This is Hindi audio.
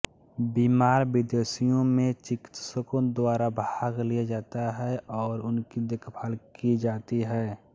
बीमार विदेशियों में चिकित्सकों द्वारा भाग लिया जाता है और उनकी देखभाल की जाती है